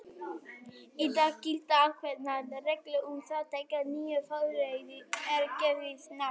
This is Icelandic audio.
Í dag gilda ákveðnar reglur um það þegar nýju frumefni er gefið nafn.